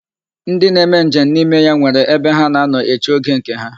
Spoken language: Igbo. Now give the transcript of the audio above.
Ndi na-eme nje m n'ime ya nwere ebe ha na-anọ eche oge nke ha.